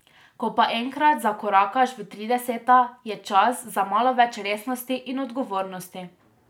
Ko pa enkrat zakorakaš v trideseta, je čas za malo več resnosti in odgovornosti.